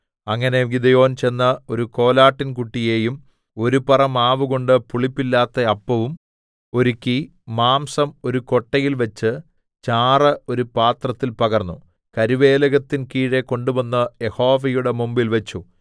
അങ്ങനെ ഗിദെയോൻ ചെന്ന് ഒരു കോലാട്ടിൻകുട്ടിയെയും ഒരു പറ മാവുകൊണ്ട് പുളിപ്പില്ലാത്ത അപ്പവും ഒരുക്കി മാംസം ഒരു കൊട്ടയിൽവെച്ച് ചാറ് ഒരു പാത്രത്തിൽ പകർന്നു കരുവേലകത്തിൻ കീഴെ കൊണ്ടുവന്ന് യഹോവയുടെ മുമ്പിൽ വെച്ചു